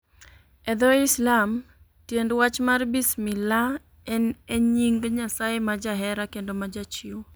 E dho Islam, tiend wach mar Bismillah en e nying' Nyasaye ma Jahera kendo ma Jachiwo.